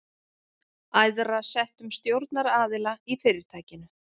æðra settum stjórnaraðila í fyrirtækinu.